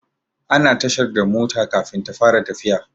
Ana tashar da mota Kafin ta fara tafiya